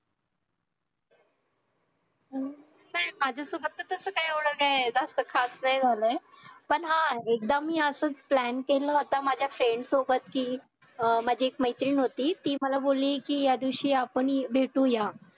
हम्म काय माझ्या सोबत तर तस एवढं काय खास नाही झालय पण हा एकदा मी असच plan केलं होत माझ्या friend सोबत कि अं माझी एक मैत्रीण होती ती मला बोली कि या दिवशी आपण भेटूया